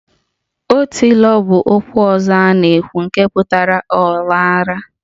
Otilo 'bụ okwu ọzọ na-ewu ewu nke pụtara 'ọ lara'